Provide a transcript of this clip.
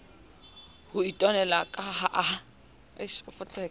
ho itwanela ka ha a